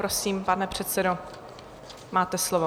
Prosím, pane předsedo, máte slovo.